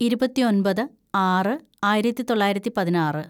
ഇരുപത്തിയൊന്‍പത് ആറ് ആയിരത്തിതൊള്ളായിരത്തി പതിനാറ്‌